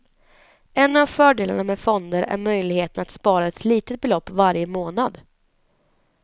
En av fördelarna med fonder är möjligheten att spara ett litet belopp varje månad.